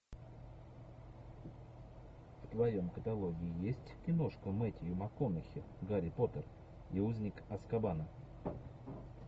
в твоем каталоге есть киношка мэтью макконахи гарри поттер и узник азкабана